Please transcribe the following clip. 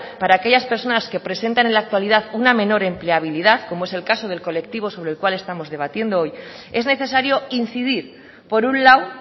para aquellas personas que presentan en la actualidad una menor empleabilidad como es el caso del colectivo sobre el cual estamos debatiendo hoy es necesario incidir por un lado